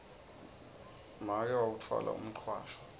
make wawutfwala umcwasho